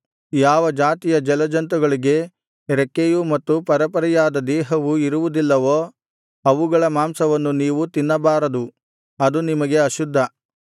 ಯಾವ ಜಾತಿಯ ಜಲಜಂತುಗಳಿಗೆ ರೆಕ್ಕೆಯೂ ಮತ್ತು ಪರೆಪರೆಯಾದ ದೇಹವು ಇರುವುದಿಲ್ಲವೋ ಅವುಗಳ ಮಾಂಸವನ್ನು ನೀವು ತಿನ್ನಬಾರದು ಅದು ನಿಮಗೆ ಅಶುದ್ಧ